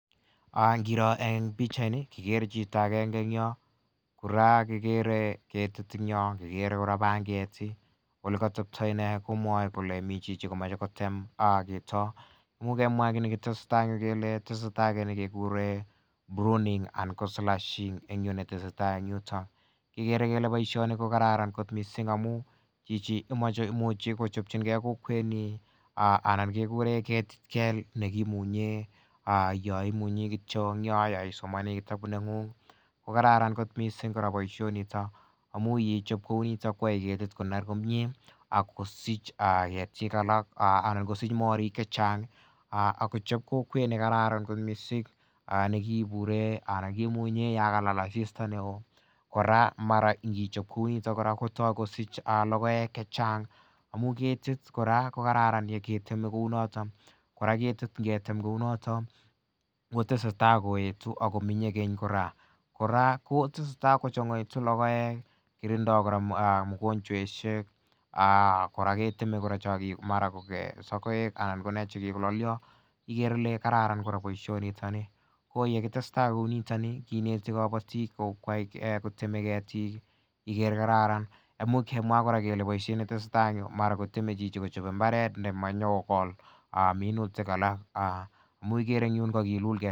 Ingiro en pichait ni ko kekere ketit en Yoon , kikere kora panget . Olekatebta ine komwae kole mi chichi komae kotem imuch kemwa kinetesetai en yu kele pruning anan ko slashing netesetai en yuton. Kikere kele boishani kokraran kot missing amu imuche kochabchinge kokwet anan kekuren ket kel nekimunyen yo imunyi kityo en yo yaisomani kitabut neng'ung kokaran kot missing kora boisiet nito amunee yeichab kouni koyae ketit koner komie akosich ketik alak anan kosich morik chechang akochab kokwet nekararan kot missing nekikuren anan nekimunyen Yoon kalal asista. Kora mara infichob kounito kosich lokoek chechang ngamuun kit kora kokraran nekechabe kounon . Kora ketit ngetem konaton kotesetai koetu ako akochang'aitu lokoek , kotinda kora mogonchwet kora ketile chekikolalio kararan kora baisionito koyekistestai kouni kineti kabatik . Amu kemwa kotieme chito Kochab imbaret neoo minutik Alan